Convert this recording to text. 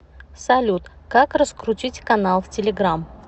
салют как раскрутить канал в телеграмм